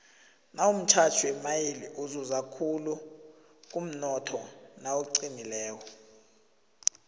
nawumtjali wemaili uzuza khulu kumnotho nawuqinileko